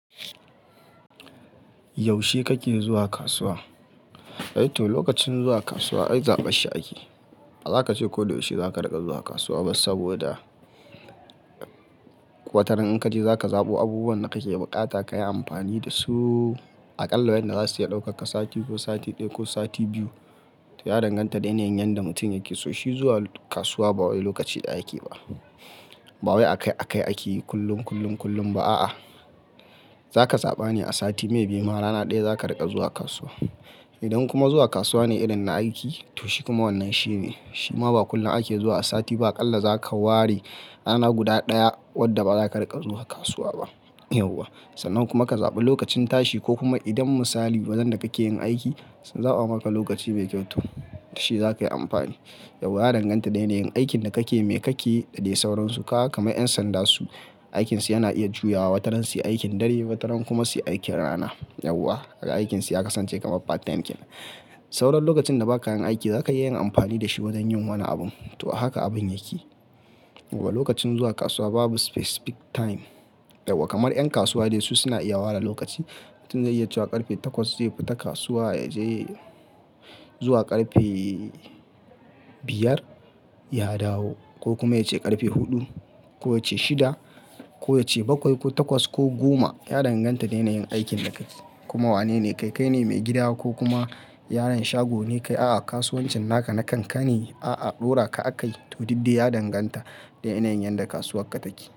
Yaushe kake zuwa kasuwa? To, lokacin zuwa kasuwa ai zaɓashi ake. Ba zaka ce koyaushe zaka riƙa zuwa kasuwa ba saboda wataran in ka je zaka zaɓo abubuwan da kake buƙata ka yi amfani da su aƙalla wayanda za su iya ɗaukaka sati ko sati ɗaya ko sati biyu. To, ya danganta da yanayin yadda mutum yake so. Shi zuwa kasuwa ba wani lokaci ɗaya yake ba. Ba wai akai-akai ake yi kullum, kullum, kullum ba a'a. Zaka zaɓa ne a sati mai biyu ma rana ɗaya zaka riƙa zuwa kasuwa. Idan kuma zuwa kasuwa ne irin na aiki to shi kuma wannan shine. Shi ma ba kullum ake zuwa a sati ba aƙalla zaka ware rana guda ɗaya wadda ba za ka riƙa zuwa kasuwa ba, yauwa. Sannan kuma ka zaɓi lokacin tashi ko kuma idan misali wajen da kake yin aiki sun zaɓa maka lokaci mai kyau, to shi zakayi amfani. Yauwa ya danganta da yanayin aikin da kake, me kake da dai sauransu. Ka ga karma 'yan sanda su, aikinsu yana iya juyawa wataran su yi aikin dare wataran kuma su yi aikin rana, yauwa. Aga aikinsu ya kasance kamar part time aikin. Sauran lokacin da ba ka yin aiki zaka iya yin amfani da shi wajen yin wani abun. To, haka abun yake. Gobe lokacin zuwa kasuwa babu specific time, yauwa. Kamar 'yan kasuwa dai su suna iya ware lokaci. Mutum zai iya cuwa ƙarfe takwas zai fita kasuwa ya je zuwa ƙarfe biyar ya dawo ko kuma ya ce ƙarfe huɗu ko ya ce shida ko ya ce bakwai ko takwas ko goma. Ya danganta da yanayin aikin da ka yi kuma wane ne, kai kai ne mai gida wa ko kuma yaron shago ne kai a'a kasuwancin naka na kankani a'a ɗora ka aka yi. To, diddi ya danganta da yanayin yadda kasuwar ka take.